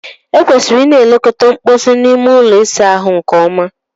E kwesịrị Ị na-elekọta mposi na ime ụlọ ịsa ahụ nke ọma.